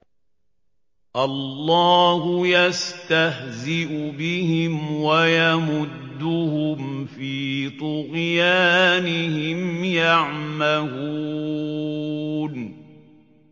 اللَّهُ يَسْتَهْزِئُ بِهِمْ وَيَمُدُّهُمْ فِي طُغْيَانِهِمْ يَعْمَهُونَ